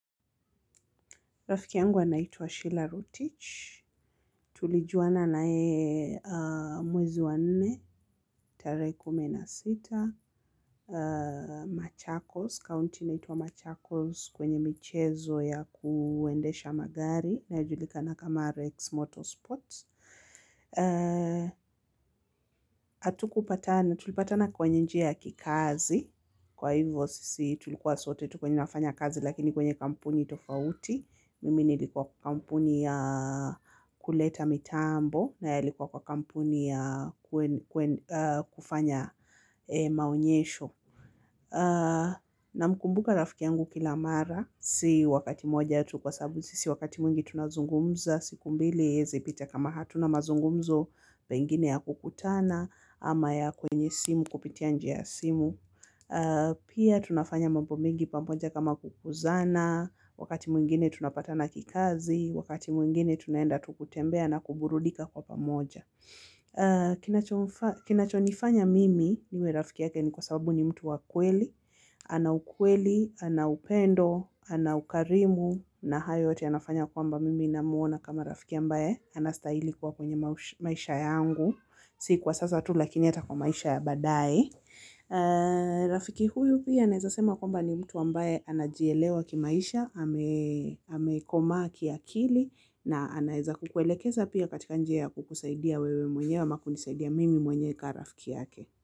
Rafiki yangu anaitwa Sheila Rutich, tulijuana na yeye e mwezi wa nne, tarehe kumi na sita, Machakos, county inayoitwa Machakos kwenye michezo ya kuendesha magari, inayojulikana kama Rex Motorsports. Hatukupatana, tulipatana kwenye njia ya kikazi. Kwa hivyo sisi tulikuwa sote, tu kwenye nafanya kazi lakini kwenye kampuni tofauti. Mimi nilikuwa kwa kampuni ya kuleta mitambo na yeye alikuwa kwa kampuni ya kufanya maonyesho. Namkumbuka rafiki yangu kila mara si wakati mmoja tu kwa sababu sisi wakati mwingi tunazungumza. Siku mbili haiezi pita kama hatuna mazungumzo pengine ya kukutana, ama ya kwenye simu kupitia njia ya simu. Pia tunafanya mambo mengi pamoja kama kukuzana, wakati mwingine tunapatana kikazi, wakati mwingine tunaenda tu kutembea na kuburudika kwa pamoja. Kinachonifanya mimi niwe rafiki yake ni kwa sababu ni mtu wa kweli, ana ukweli, ana upendo, ana ukarimu, na haya yote yanafanya kwamba mimi namuona kama rafiki ambaye, anastahili kuwa kwenye maisha yangu si kwa sasa tu lakini hata kwa maisha ya baadae rafiki huyu pia naeza sema kwamba ni mtu ambaye anajielewa kimaisha amekomaa kia kili na anaeza kukuelekeza pia katika njia ya kukusaidia wewe mwenyewe ama kunisaidia mimi mwenyewe kama rafiki yake.